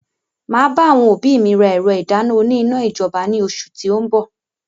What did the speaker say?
Máa bá àwọn òbí mi rà ẹ̀rọ ìdáná òní iná ijọba ni oṣù ti o n bọ̀.